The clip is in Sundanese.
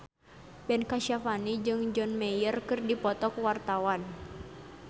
Ben Kasyafani jeung John Mayer keur dipoto ku wartawan